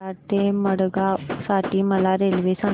कराड ते मडगाव साठी मला रेल्वे सांगा